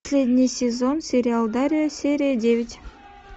последний сезон сериал дарья серия девять